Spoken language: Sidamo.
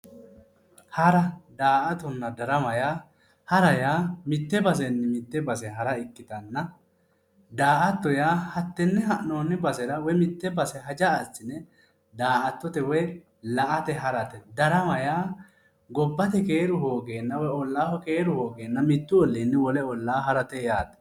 Hara, daa'attonna darama yaa hara yaa mitte basenni mitte base hara ikkitanna daa'atto yaa tenne ha'nooni basera woyi mitte basera haja asine daa'attote woyi la"ate harate darama Yaa gobbate keeru hoogena woyi olaaho keeru hogeena Mittu oliinni wole olaa harate yaate